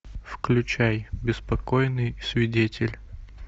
включай беспокойный свидетель